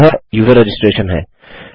और यह user registration है